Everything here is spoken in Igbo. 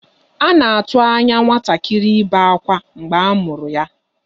A na-atụ anya nwatakịrị ibe akwa mgbe a mụrụ ya.